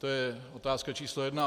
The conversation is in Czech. To je otázka číslo jedna.